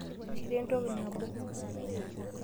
Kira entoki nabo.